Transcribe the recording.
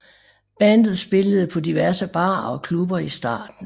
Bandet spillede på diverse barer og klubber i starten